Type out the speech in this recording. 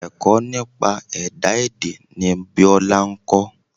Ẹ̀kọ́ nípa ìmọ̀ ẹ̀dá èdè ni Biola ń kọ́.